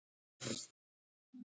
Óvíst sé hversu mikill hann verði